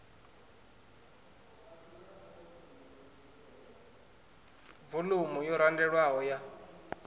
vo umu yo randelwaho ya